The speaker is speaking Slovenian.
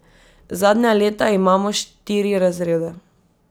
Zadnja leta imamo štiri razrede.